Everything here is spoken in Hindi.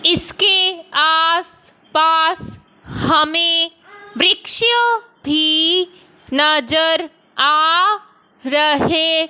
इसके आस पास हमे वृक्ष भी नजर आ रहे--